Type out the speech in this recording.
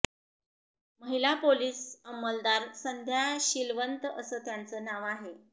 महिला पोलीस अंमलदार संध्या शीलवंत असं त्यांचं नाव आहे